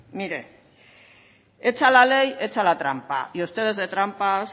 mire hecha la ley hecha la trampa y ustedes de trampas